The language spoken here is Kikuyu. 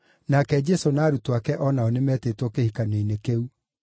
nake Jesũ na arutwo ake o nao nĩmetĩtwo kĩhikanio-inĩ kĩu.